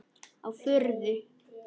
Á furðu